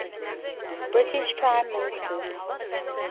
british prime ministers